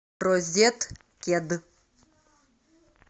розеткед